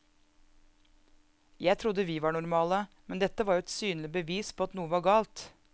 Jeg trodde vi var normale, men dette var jo et synlig bevis på at noe var galt.